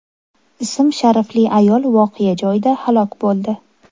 ism-sharifli ayol voqea joyida halok bo‘ldi.